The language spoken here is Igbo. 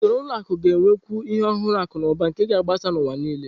Usoro ụlọ akụ ga-enwekwu ihe ọhụrụ akụ na ụba nke ga-agbasa n'ụwa nile.